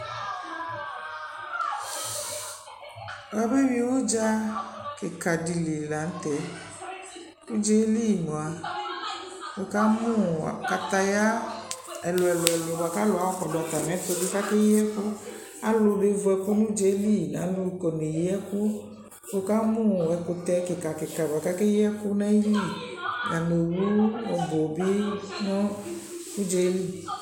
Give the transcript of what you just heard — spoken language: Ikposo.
Wʊa bewi ʊdza kika dɩ li la nʊtɛ Ʊdza yɛ li mwa wʊ kamʊ kataya ɛlʊ ɛlʊ bwa kalʊ ayɔ kɔdʊ atamɩ ɛtʊ bɩ kakeyi ɛkʊ Alʊ be vʊ ɛkʊ nʊ ʊdza yɛ li nʊ alʊ kɔ neyi ɛkʊ Wʊ ka mʊ ɛkʊtɛ kika kika bwa ka keyi ɛkʊ nʊ ayili Nanʊ owu ɔbʊ bɩ nʊ ʊdza yɛ lu